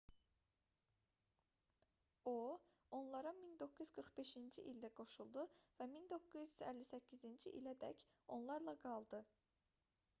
o onlara 1945-ci ildə qoşuldu və 1958-ci ilədək onlarla qaldı